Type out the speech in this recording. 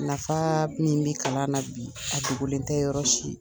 Nafaa min bi kalan na bi, a dogolen tɛ yɔrɔ si.